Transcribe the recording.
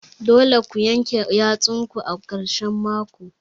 Dole ku yanke yatsun ku ã karshen mako.